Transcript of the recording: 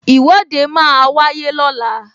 Ìwọ́de máa wáyé lọ́la